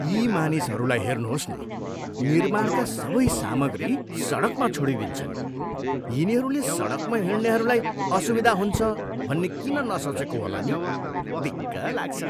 यी मानिसहरूलाई हेर्नुहोस् न, निर्माणका सबै सामग्री सडकमा छोडिदिन्छन्। यिनीहरूले सडकमा हिँड्नेहरूलाई असुविधा हुन्छ भन्ने किन नसोचेको होला नि? दिक्क लाग्छ।